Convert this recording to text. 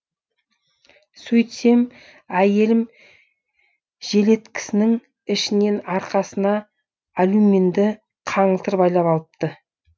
сөйтсем әйелім желеткісінің ішінен арқасына алюминді қаңылтыр байлап алыпты